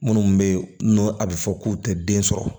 Minnu bɛ yen n'u a bɛ fɔ k'u tɛ den sɔrɔ